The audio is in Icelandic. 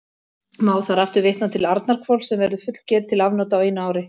Má þar aftur vitna til Arnarhvols, sem verður fullger til afnota á einu ári.